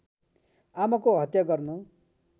आमाको हत्या गर्न